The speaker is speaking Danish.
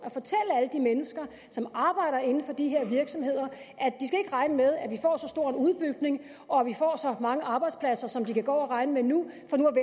at de mennesker som arbejder inden for de her virksomheder at regne med at vi får så stor en udbygning og at vi får så mange arbejdspladser som de kan gå og regne med nu